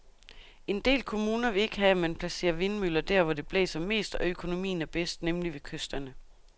En del kommuner vil ikke have, at man placerer vindmøller der, hvor det blæser mest og økonomien er bedst, nemlig ved kysterne.